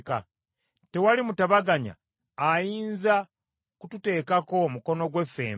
Tewali mutabaganya ayinza kututeekako mukono gwe ffembi,